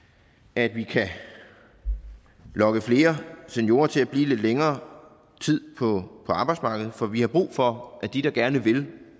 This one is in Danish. at vi kan lokke flere seniorer til at blive lidt længere tid på arbejdsmarkedet for vi har brug for at de der gerne vil